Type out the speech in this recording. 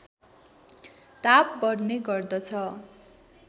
ताप बढ्ने गर्दछ